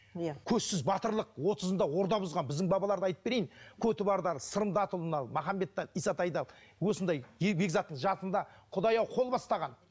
иә көзсіз батырлық отызында орда бұзған біздің бабаларды айтып берейін осындай бекзаттың жасында құдай ау қол бастаған